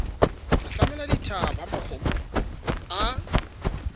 hlahlamela dithaba ha makgomo a